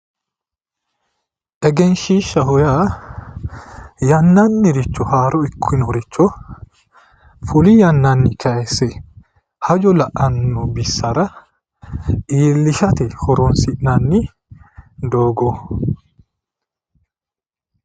Egenshiishshaho yaa yannanniricho haaro ikkinoricho fuli yannanni kayisse hajo la'anno bissara iillishate horoonsi'nanni doogo.